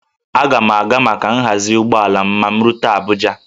Aga m a ga maka nhazi ụgbọala m ma m rute Abuja